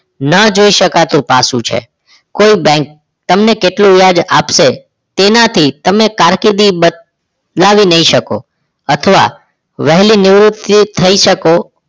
ના જોઈ શકાતું પાસુ છે કોઈ બેંક તમને કેટલું વ્યાજ આપશે તેનાથી તમને કારકિર્દી બદલાવી નહીં શકો અથવા વહેલી નિવૃત્તિ થઈ શકો